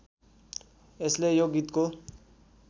यसले यो गीतको